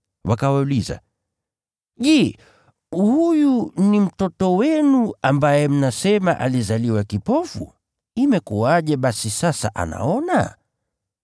Wakawauliza, “Je, huyu ni mtoto wenu, ambaye mnasema alizaliwa kipofu? Imekuwaje basi sasa anaona?”